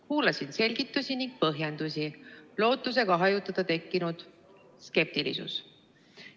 Kuulasin selgitusi ning põhjendusi, lootusega hajutada tekkinud skeptilisus.